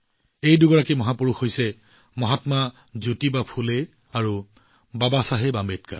এই দুজন মহাপুৰুষ মহাত্মা জ্যোতিবা ফুলে আৰু বাবাচাহেব আম্বেদকাৰ